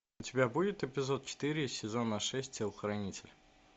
у тебя будет эпизод четыре сезона шесть телохранитель